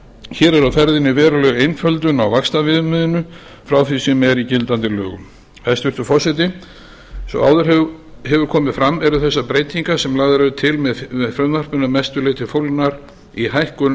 hér er á ferðinni veruleg einföldun á vaxtaviðmiðinu frá því sem er í gildandi lögum hæstvirtur forseti eins og áður hefur komið fram eru þessar breytingar sem lagðar eru til með frumvarpinu að mestu leyti fólgnar í hækkun